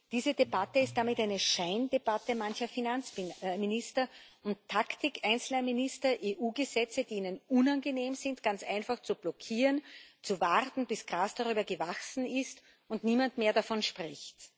Diese Debatte ist damit eine Scheindebatte mancher Finanzminister und Taktik einzelner Minister, EU-Gesetze, die ihnen unangenehm sind, ganz einfach zu blockieren, zu warten, bis Gras darüber gewachsen ist und niemand mehr davon spricht.